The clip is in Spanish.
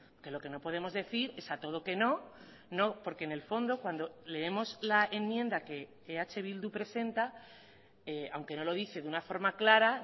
que lo que no podemos decir es a todo que no no porque en el fondo cuando leemos la enmienda que eh bildu presenta aunque no lo dice de una forma clara